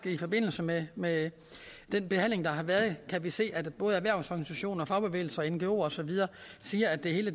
i forbindelse med med den behandling der har været kan vi faktisk se at både erhvervsorganisationer fagbevægelse ngoer og så videre siger at det hele